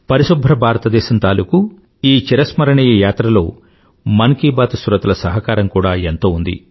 పరిశుభ్ర భారతదేశం తాలూకూ ఈ చిరస్మరణియ యాత్రను లో మన్ కీ బాత్ శ్రోతల సహకారం కూడా ఎంతో ఉంది